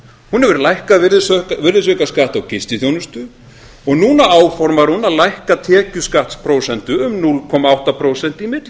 hún hefur lækkað virðisaukaskatt á gistiþjónustu og núna áformar hún að lækka tekjuskattsprósentu um núll komma átta prósent í